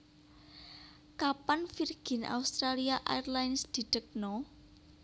Kapan Virgin Australia Airlines didekno?